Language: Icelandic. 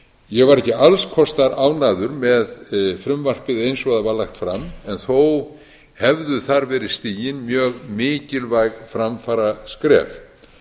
ég var ekki alls kostar ánægður með frumvarpið eins og það var lagt fram en þó hefðu þar verið stigin mjög mikilvæg framfaraskref